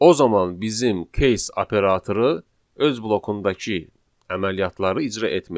O zaman bizim case operatoru öz blokundakı əməliyyatları icra etməyəcək.